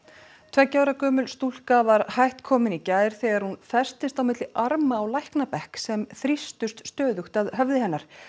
tveggja ára gömul stúlka var hætt komin í gær þegar hún festist á milli arma á læknabekk sem þrýstust stöðugt að höfði hennar